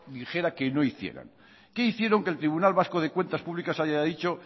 dijera que no hicieran qué hicieron que el tribunal vasco de cuentas públicas haya dicho